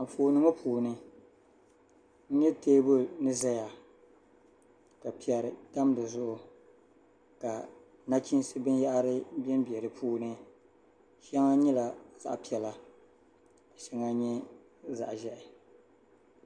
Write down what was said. Anfooni ŋɔ puuni n nya teebuli ni zaya ka piɛri tam di zuɣu ka nachiinsi binyɛhiri bembe di puuni shɛŋa nyɛla zaɣ'piɛla ka shɛŋa nyɛ zaɣ'ʒɛhi.